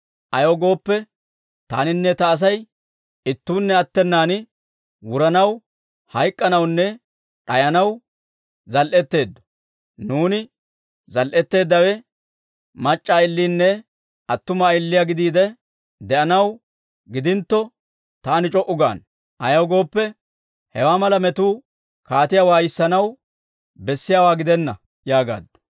Ayaw gooppe, taaninne ta Asay ittuunne attenan wuranaw hayk'k'anawunne d'ayanaw zal"etteeddo. Nuuni zal"eteeddawe mac'c'a ayilenne attuma ayiliyaa gidiide de'anaw gidintto, taani c'o"u gaana; ayaw gooppe, hewaa mala metuu kaatiyaa waayissanaw bessiyaawaa gidenna» yaagaaddu.